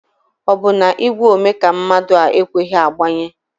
Ọ bụ na igwe ome ka mmadụ a ekweghi ịgbanye?